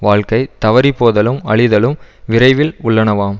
வாழ்க்கை தவறிபோதலும் அழிதலும் விரைவில் உள்ளனவாம்